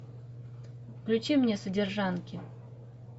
включи мне содержанки